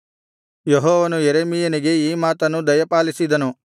ಯೆಹೋವನು ಯೆರೆಮೀಯನಿಗೆ ಈ ಮಾತನ್ನು ದಯಪಾಲಿಸಿದನು